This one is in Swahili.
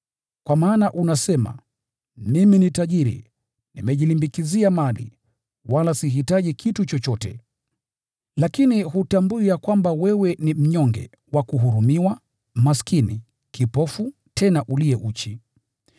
Kwa maana unasema: ‘Mimi ni tajiri, nimejilimbikizia mali, wala sihitaji kitu chochote.’ Lakini hutambui ya kwamba wewe ni mnyonge, wa kuhurumiwa, maskini, kipofu, tena uliye uchi.